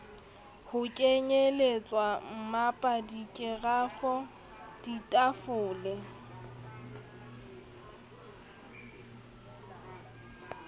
ho kenyelletswa mmapa dikerafo ditafole